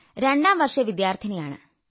രണ്ടാം വർഷ വിദ്യാർഥിനിയാണ്